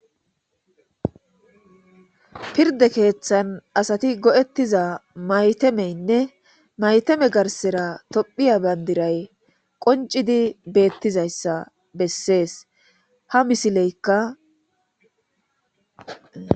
pirde keeththan asati go7ettiza maytemeynne mayteme garsera tophiya bandiray qoncidi beettizayssa bessees ha misileykka